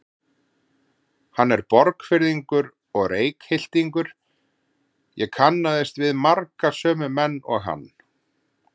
Hann er Borgfirðingur og Reykhyltingur, ég kannaðist við marga sömu menn og hann.